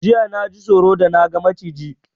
Jiya naji tsoro da na ga Maciji